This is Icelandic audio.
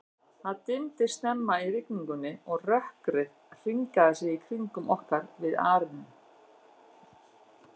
Það dimmdi snemma í rigningunni, og rökkrið hringaði sig í kringum okkur við arininn.